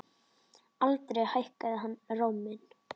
Aldrei hækkaði hann róminn.